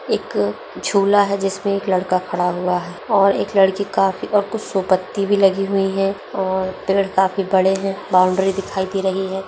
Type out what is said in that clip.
एक झूला है जिसमें एक लड़का खड़ा हुआ है और एक लड़की काफी और पेड़ काफी बड़े है और बाउंड्री दिखाई दे रही है।